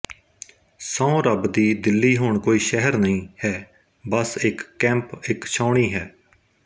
ਸਹੁੰ ਰੱਬ ਦੀ ਦਿੱਲੀ ਹੁਣ ਕੋਈ ਸ਼ਹਿਰ ਨਹੀਂ ਹੈ ਬੱਸ ਇੱਕ ਕੈਂਪ ਇੱਕ ਛਾਉਣੀ ਹੈ